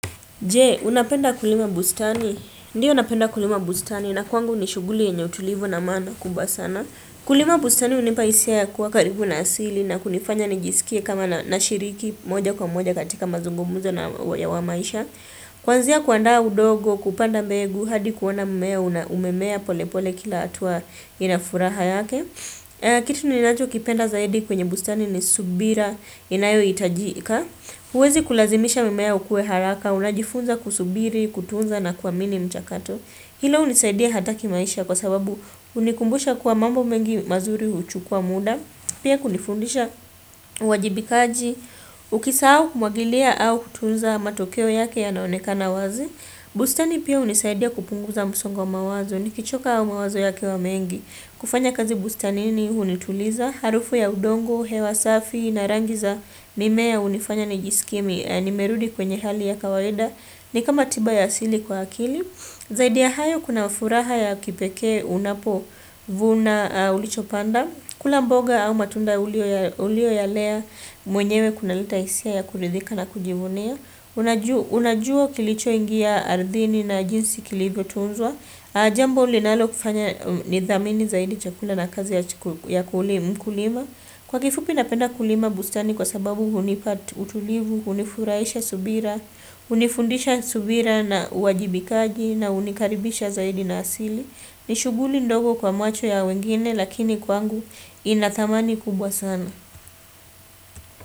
Je, unapenda kulima bustani? Ndio napenda kulima bustani, na kwangu ni shughuli yenye utulivu na maana kubwa sana. Kulima bustani hunipa hisia ya kuwa karibu na asili na kunifanya nijisikie kama nashiriki moja kwa moja katika mazungumuzo na wa maisha. Kuanzia kuandaa udongo, kupanda mbegu, hadi kuona mmea, umemea pole pole kila hatua ina furaha yake. Kitu ninachokipenda zaidi kwenye bustani ni subira, inayohitajika. Huwezi kulazimisha mimea ukue haraka, unajifunza kusubiri, kutunza na kuamini mchakato. Hilo hunisaidia hata kimaisha kwa sababu hunikumbusha kuwa mambo mengi mazuri huchukua muda. Pia kunifundisha uwajibikaji, ukisahau kumwagilia au kutunza matokeo yake yanaonekana wazi. Bustani pia hunisaidia kupunguza msongo wa mawazo, nikichoka au mawazo yakiwa mengi. Kufanya kazi bustanini hunituliza, harufu ya udongo, hewa safi, na rangi za mimea hunifanya nijisikie nimerudi kwenye hali ya kawaida, ni kama tiba ya asili kwa akili. Zaidi ya hayo kuna ufuraha ya kipekee unapovuna ulichopanda, kula mboga au matunda uliyoyalea mwenyewe kunaleta hisia ya kuridhika na kujivunia. Unajua kilichoingia ardhini na jinsi kilivyo tunzwa Jambo linalokufanya nidhamini zaidi chakula na kazi ya kulima. Kwa kifupi napenda kulima bustani kwa sababu hunipa utulivu, hunifurahisha, subira hunifundisha subira na uwajibikaji na hunikaribisha zaidi na asili. Ni shughuli ndogo kwa macho ya wengine lakini kwangu ina dhamani kubwa sana.